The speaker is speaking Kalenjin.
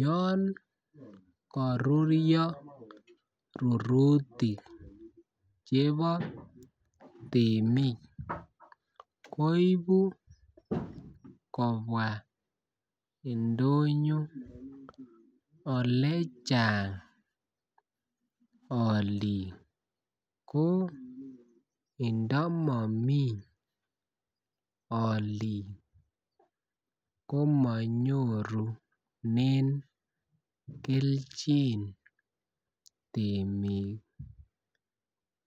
yon koruryo rurutik chebo temik koibu kobwaa indonyo ole Chang oliik ko indo momii oliik komo nyoruren kelchin temik